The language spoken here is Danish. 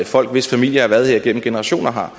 folk hvis familier har været her gennem generationer har